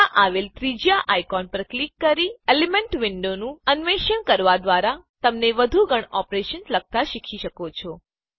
ત્યાં આવેલ ત્રીજા આઈકોન પર ક્લિક કરી એલેમેંટ વિન્ડો નું અન્વેષણ કરવા દ્વારા તમે વધુ ગણ ઓપરેશન લખતા શીખી શકો છો